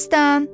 Məstan,